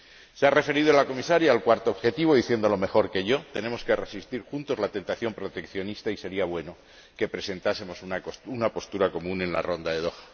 Se ha referido la Comisaria al cuarto objetivo, diciéndolo mejor que yo tenemos que resistir juntos a la tentación proteccionista y sería bueno que presentásemos una postura común en la Ronda de Doha.